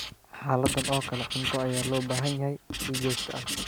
Xaaladdan oo kale, cunto ayaa loo baahan yahay si joogto ah.